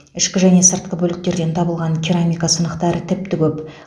ішкі және сыртқы бөліктерден табылған керамика сынықтары тіпті көп